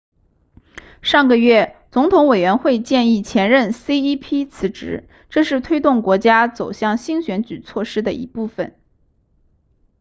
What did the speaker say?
上个月总统委员会建议前任 cep 辞职这是推动国家走向新选举措施的一部分